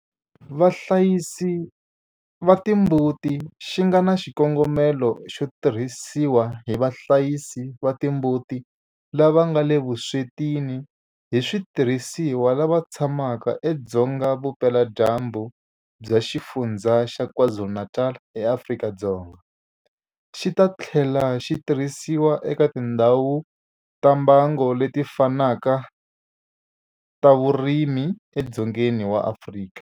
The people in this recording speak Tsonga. Vahlayisi va timbuti xi nga na xikongomelo xo tirhisiwa hi vahlayisi va timbuti lava nga le vuswetini hi switirhisiwa lava tshamaka edzonga vupeladyambu bya Xifundzha xa KwaZulu-Natal eAfrika-Dzonga, xi ta tlhela xi tirhisiwa eka tindhawu ta mbango leti fanaka ta vurimi edzongeni wa Afrika.